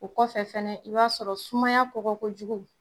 O kɔfɛ fana i b'a sɔrɔ sumaya kɔgɔ kojugu